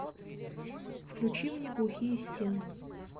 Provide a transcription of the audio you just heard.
включи мне глухие стены